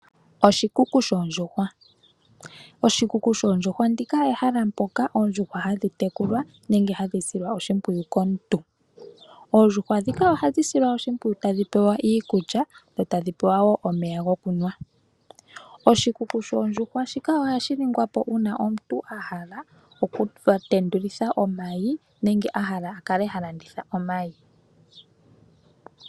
Oshikuku shoondjuhwa, oshikuku shoondjuhwa ndika ehala poka oondjuhwa hadhitekulwa nenge hadhisilwa oshipwiyu komuntu, oondjuhwa dhika ohadhisilwa oshipwiyu tadhi pewa iikulya dho tadhipewa wo omeya ngokunwa, oshikuku shoondjuhwa shika ohashiningwapo una omuntu ahala okutendulitha omayi nenge ahala akale halanditha omayi.